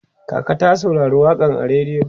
kaka ta saurari waƙan a rediyo